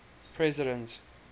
president